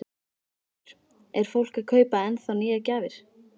Höskuldur: Er fólk að kaupa ennþá nýjar gjafir?